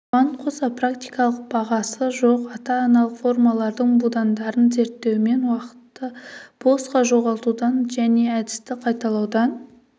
бұған қоса практикалық бағасы жоқ ата-аналық формалардың будандарын зерттеумен уақытты босқа жоғалтудан және әдісті қайталаудан